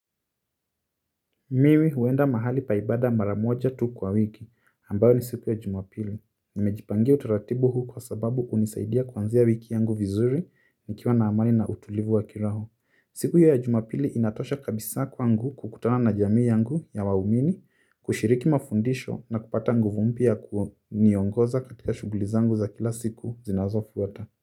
Mimi huenda mahali pa ibada mara moja tu kwa wiki, ambayo ni siku ya Jumapili. Nimejipangia utaratibu huu kwa sababu hunisaidia kuanzia wiki yangu vizuri, nikiwa na amani na utulivu wa kiroho. Siku ya Jumapili inatosha kabisa kwangu kukutana na jamii yangu ya wawumini, kushiriki mafundisho na kupata nguvu mpya ya kuniongoza katika shughuli zangu za kila siku zinazofuata.